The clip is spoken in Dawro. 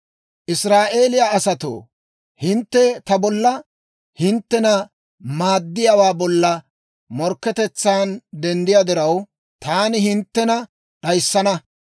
«Israa'eeliyaa asatoo, hintte ta bolla, hinttena maaddiyaawaa bolla morkketetsaan denddiyaa diraw, taani hinttena d'ayissana.